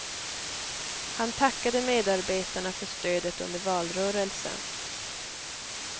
Han tackade medarbetarna för stödet under valrörelsen.